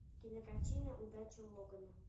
кинокартина удача логана